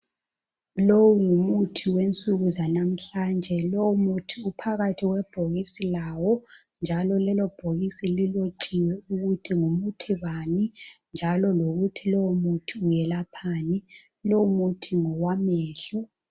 Lowu ngumuthi wensuku zanamhlanje. Lowu muthi uphakathi kwebhokisi lawo njalo lelobhokisi lilotshiwe ukuthi ngumuthi bani njalo lokuthi lowo muthi welaphani. Lowo muthi ngowamehlo.